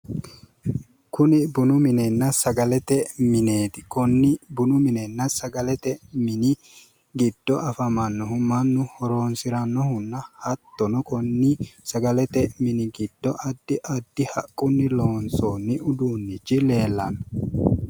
Kuni buni minenna sagalete mineeti. konni bunu minenna sagalete min giddo afammannohu mannu horonsirannohunna hattono konni sagalete mini giddo addi addi haqqunni loonsoonni uduunnichi leellanno.